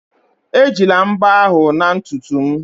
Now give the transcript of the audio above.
Ejila mbo ahụ na ntutu m